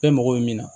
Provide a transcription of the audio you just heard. Bɛɛ mago bɛ min na